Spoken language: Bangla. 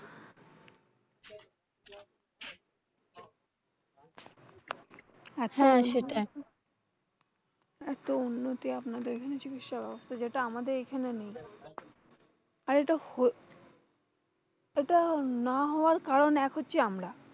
হ্যাঁ সেটাই, এত উন্নতি আপনাদের ওখানে চিকিৎসাব্যবস্থার যেটা আমাদের এখানে নেই। আর এতো এটা না হওয়ার কারণ হচ্ছে আমরাই।